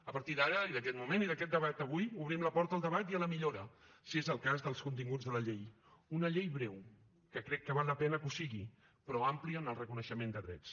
a partir d’ara i d’aquest moment i d’aquest debat avui obrim la porta al debat i a la millora si és el cas dels continguts de la llei una llei breu que crec que val la pena que ho sigui però àmplia en el reconeixement de drets